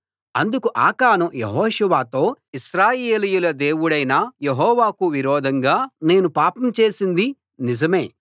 అందుకు ఆకాను యెహోషువతో ఇశ్రాయేలీయుల దేవుడు యెహోవాకు విరోధంగా నేను పాపం చేసింది నిజమే